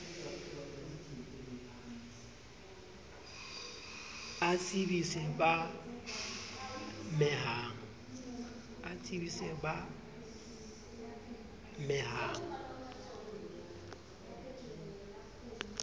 a tsebise b a mehang